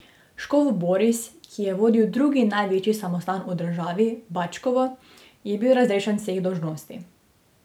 Škof Boris, ki je vodil drugi največji samostan v državi, Batčkovo, je bil razrešen vseh dolžnosti.